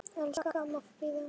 Elsku amma Fríða.